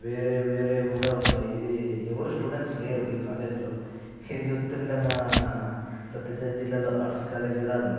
వేరే వేరేవి కూడా ఉన్నాయి ఇది ఎవరు స్టూడెంట్స్ లేరు ఈ కాలేజ్ లో ఇది చూస్తుంటే మన సత్యసాయి జిల్లా లో ఆర్ట్స్ కాలేజీ లా ఉంది.